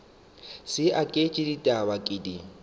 sa aketše ditaba ke di